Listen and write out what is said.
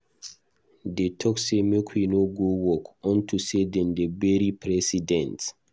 Dey talk say make we no go work unto say dem dey bury President.